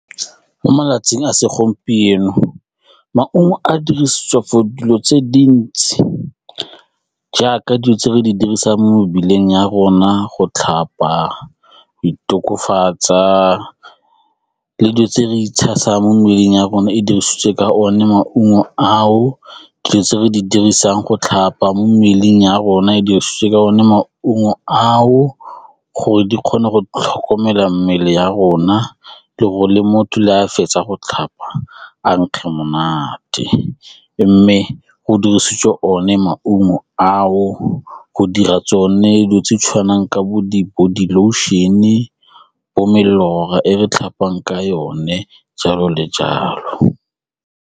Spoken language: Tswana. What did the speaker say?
Mo malatsing a segompieno, maungo a dirisitswe for dilo tse dintsi jaaka dilo tse re di dirisang mo mebeleng ya rona go tlhapa, go itokofatsa le dilo tse re itshasa mo mmeleng ya rona e dirisitswe ka one maungo ao dilo tse re di dirisang go tlhapa mo mmeleng ya rona e dirisiwe ka one maungo ao gore di kgone go tlhokomela mmele ya rona le gore le motho le a fetsa go tlhapa a nkge monate mme go dirisitswe one maungo ao go dira tsone dilo tse tshwanang ka bo di bo di-body lotion-e bo melora e re tlhapang ka yone jalo le jalo.